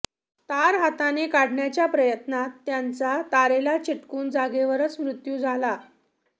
तार हाताने काढण्याच्या प्रयत्नात त्यांचा तारेला चिटकून जागेवरच मृत्यू झाला